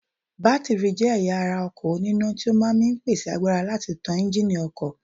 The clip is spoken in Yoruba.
Bátìrì jẹ́ ẹ̀yà ara ọkọ̀ òní iná tí ó máa ń mi pèsè agbára láti tán Ẹ́ńjíìnì ọkọ̀